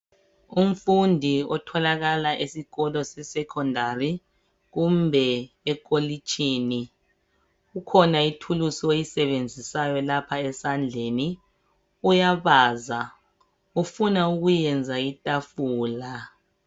Umfundi otholakala esikolo se secondary kumbe ekolitshini ,ikhona ithuluzi ayisebenzisayo lapha esandleni ,uyabaza ufuna ukwenza itafula